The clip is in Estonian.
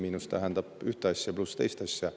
Miinus tähendab ühte asja, pluss teist asja.